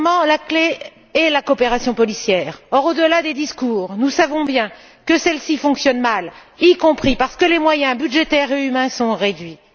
La clef est la coopération policière. Or, au delà des discours nous savons bien que celle ci fonctionne mal, y compris parce que les moyens budgétaires et humains sont réduits.